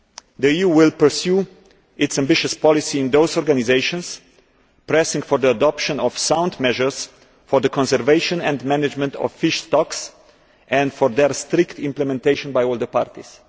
The EU will pursue its ambitious policy in those organisations, pressing for the adoption of sound measures for the conservation and management of fish stocks, and for their strict implementation by all the parties.